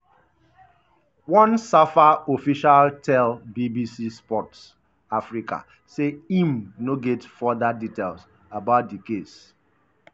one safa official tell bbc sport africa say im no get further details about di case.